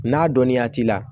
N'a dɔnninya t'i la